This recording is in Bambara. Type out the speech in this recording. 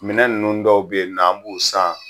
Minɛ ninnu dɔw be yen nɔn an b'u san